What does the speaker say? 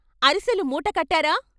అరిసెలు మూట కట్టారా?